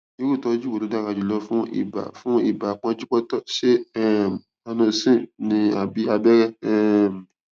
irú ìtọjú wo ló dára jùlọ fún ibà fún ibà pọnjúpọntọ ṣé um zanocin ni àbí abẹrẹ um